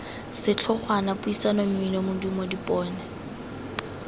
setlhogwana puisano mmino modumo dipone